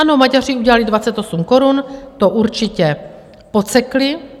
Ano, Maďaři udělali 28 korun, to určitě podsekli.